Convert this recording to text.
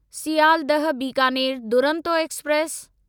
Sealdah Bikaner Duronto express